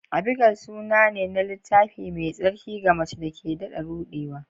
Abigail suna ne na Littafi Mai Tsarki ga mace da ke daɗa ruɗewa.